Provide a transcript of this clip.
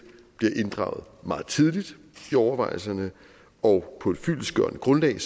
bliver inddraget meget tidligt i overvejelserne og på et fyldestgørende grundlag